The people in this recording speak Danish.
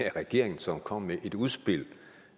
er regeringen som kommer med et udspil